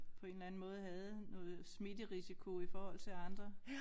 På en eller anden måde havde noget smitterisiko i forhold til andre